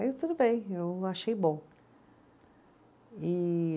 Aí tudo bem, eu achei bom. E